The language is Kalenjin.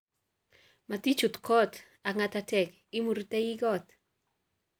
Motichut ko ak nga'tatek , imurite kot.